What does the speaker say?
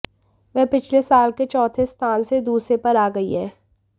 वह पिछले साल के चौथे स्थान से दूसरे पर आ गई हैं